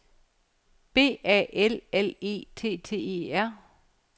B A L L E T T E R